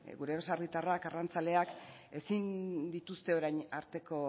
gure baserritarrak arrantzaleak ezin dituzte orain arteko